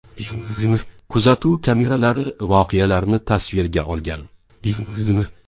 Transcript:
Kuzatuv kameralari voqealarni tasvirga olgan.